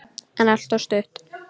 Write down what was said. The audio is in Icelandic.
En alltof stutt.